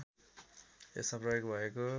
यसमा प्रयोग भएको